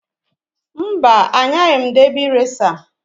Mba! Anyaghị m debị reca.